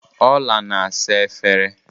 Ọla na-asa efere